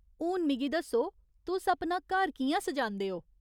हून मिगी दस्सो, तुस अपना घर कि'यां सजांदे ओ ?